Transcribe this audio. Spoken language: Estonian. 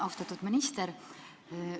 Austatud minister!